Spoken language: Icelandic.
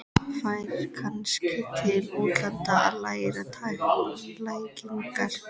Færi kannski til útlanda að læra tannlækningar.